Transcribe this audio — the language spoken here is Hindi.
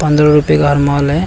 पंद्रह रुपए का हर माल है।